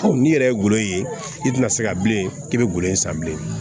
n'i yɛrɛ ye golo ye i tɛna se ka bilen k'i bɛ golo in san bilen